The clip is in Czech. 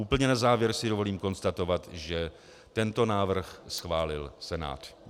Úplně na závěr si dovolím konstatovat, že tento návrh schválil Senát.